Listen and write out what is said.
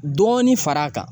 Dɔɔni fara a kan.